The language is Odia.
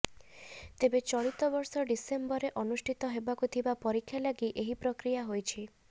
ତେବେ ଚଳିତବର୍ଷ ଡିସେମ୍ବରରେ ଅନୁଷ୍ଠିତ ହେବାକୁ ଥିବା ପରୀକ୍ଷା ଲାଗି ଏହି ପ୍ରକ୍ରିୟା ହୋଇଛି